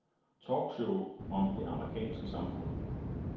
Talkshow om det amerikanske samfund.